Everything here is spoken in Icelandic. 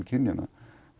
kynjanna